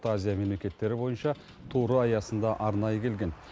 орта азия мемлекеттері бойынша туры аясында арнайы келген